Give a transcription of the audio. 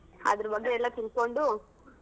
ಅದ್ರ್ ಬಗ್ಗೆ ಎಲ್ಲಾ ತಿಳ್ಕೊಂಡು.